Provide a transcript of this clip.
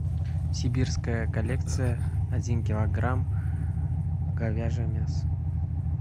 сибирская коллекция один килограмм говяжье мясо